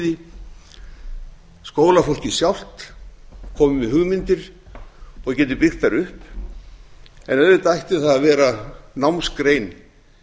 því skólafólkið sjálft komi með hugmyndir og geti byggt þær upp en auðvitað ætti það að vera námsgrein